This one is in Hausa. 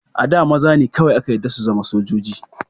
A da, maza ne kawai aka yarda su zama sojoji.